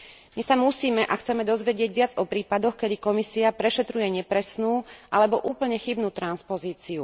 My sa musíme a chceme dozvedieť viac o prípadoch, kedy Komisia prešetruje nepresnú alebo úplne chybnú transpozíciu.